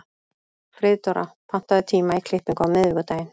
Friðdóra, pantaðu tíma í klippingu á miðvikudaginn.